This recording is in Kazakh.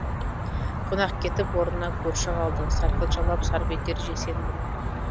қонақ кетіп орнына көрші қалды сарқыт жалап сарп етер жексенбіні